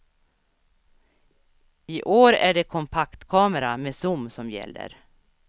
I år är det kompaktkamera med zoom som gäller.